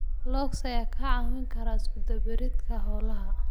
Logs ayaa kaa caawin kara iskudubaridka hawlaha.